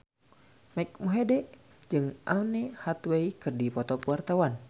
Mike Mohede jeung Anne Hathaway keur dipoto ku wartawan